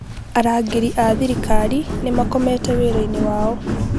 Arangĩri a thirikari nĩ makomete wĩra-inĩ wao